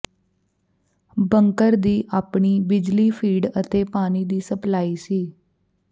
ਬੰਕਰ ਦੀ ਆਪਣੀ ਬਿਜਲੀ ਫੀਡ ਅਤੇ ਪਾਣੀ ਦੀ ਸਪਲਾਈ ਸੀ